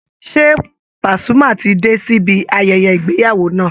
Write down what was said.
Ṣé Pasuma ti dé sibi ayẹyẹ ìgbéyàwó náà?